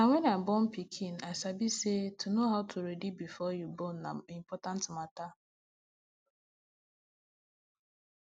na wen i born pikin i sabi say to know how to ready before you born na important matter